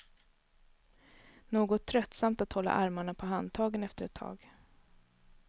Något tröttsamt att hålla armarna på handtagen efter ett tag.